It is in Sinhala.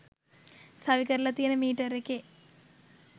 සවිකරලා තියන මීටර් එකේ